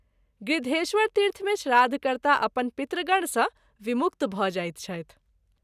गृध्रेश्वरतीर्थ मे श्राद्ध कर्ता अपन पितृगण सँ विमुक्त भ’ जाइत छथि।